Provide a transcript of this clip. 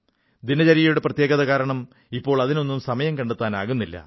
ദിനചര്യയുടെ പ്രത്യേകത കാരണം ഇപ്പോൾ അതിനൊന്നും സമയം കണ്ടെത്താനാകുന്നില്ല